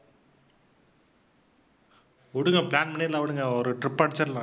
விடுங்க plan பண்ணிடலாம் விடுங்க ஒரு trip அடிச்சிடலாம்.